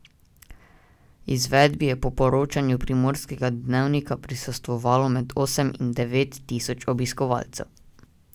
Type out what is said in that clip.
Izvedbi je po poročanju Primorskega dnevnika prisostvovalo med osem in devet tisoč obiskovalcev.